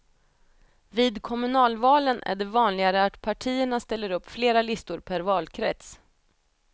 Vid kommunalvalen är det vanligare att partierna ställer upp flera listor per valkrets.